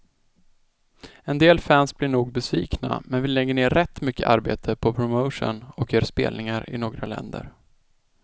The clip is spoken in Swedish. En del fans blir nog besvikna, men vi lägger ner rätt mycket arbete på promotion och gör spelningar i några länder.